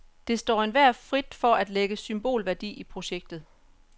Det står enhver frit for at lægge symbolværdi i projektet.